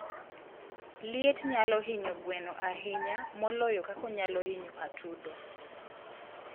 liet nyalo hinyo gweno ahinya moloyo kaka onyalo hinyo atudo.